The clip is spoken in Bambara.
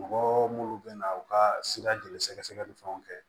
Mɔgɔ munnu bɛna u ka sira joli sɛgɛsɛgɛ ni fɛnw kɛ